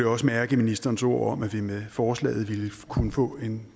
også mærke i ministerens ord om at vi med forslaget ville kunne få en